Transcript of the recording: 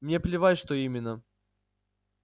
мне плевать что именно